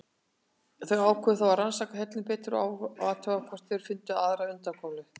Þeir ákváðu þó að rannsaka hellinn betur og athuga hvort þeir fyndu aðra undankomuleið.